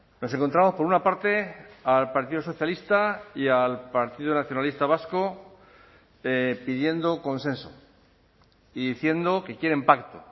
nos encontramos por una parte al partido socialista y al partido nacionalista vasco pidiendo consenso y diciendo que quieren pacto